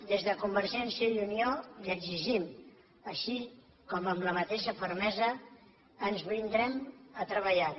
des de convergència i unió li ho exigim així com amb la mateixa fermesa ens brindem a treballar hi